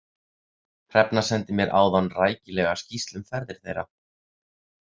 Hrefna sendi mér áðan rækilega skýrslu um ferðir þeirra.